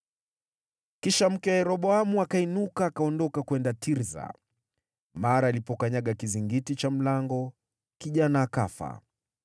Kisha mke wa Yeroboamu akainuka, akaondoka kwenda Tirsa. Mara alipokanyaga kizingiti cha mlango, kijana akafa.